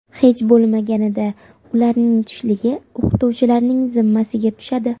Hech bo‘lmaganida ularning tushligi o‘qituvchilarning zimmasiga tushadi.